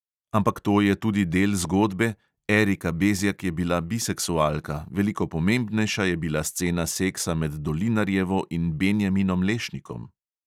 Ampak to je tudi del zgodbe, erika bezjak je bila biseksualka, veliko pomembnejša je bila scena seksa med dolinarjevo in benjaminom lešnikom.